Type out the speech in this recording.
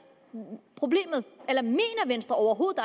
problemet eller mener venstre overhovedet